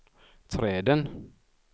träden